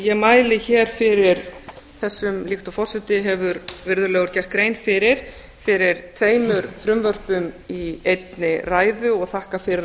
ég mæli hér fyrir þessum líkt og forseti hefur virðulegur gert grein fyrir fyrir tveimur frumvörpum í einni ræðu og þakka fyrir